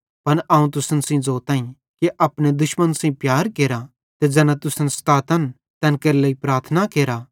पन अवं तुसन सेइं ज़ोताईं कि अपने दुश्मन सेइं प्यार केरा ते ज़ैना तुसन सतातन तैन केरे लेइ प्रार्थना केरा